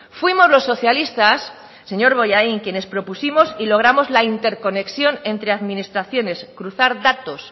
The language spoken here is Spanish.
fuimos los socialistas señor bollain quienes propusimos y logramos la interconexión entre administraciones cruzar datos